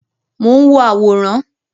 Mo n wo àwòrán.